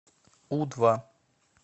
у два